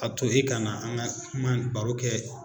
A to e ka na an ka kuma nin baro kɛ